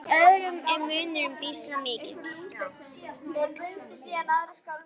En í öðrum er munurinn býsna mikill.